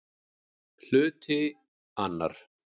Hluti II